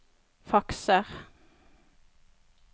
fakser